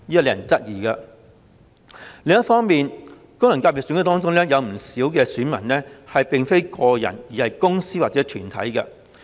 另一方面，功能界別選舉中的不少選民並非個人，而是公司或團體。